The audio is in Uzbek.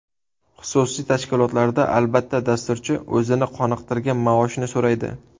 Xususiy tashkilotlarda, albatta, dasturchi o‘zini qoniqtirgan maoshni so‘raydi.